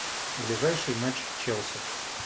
ближайший матч челси